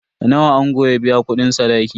Nawa ango ya biya kudin sadaki?